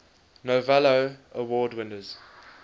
novello award winners